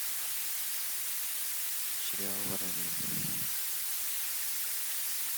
сериал воронины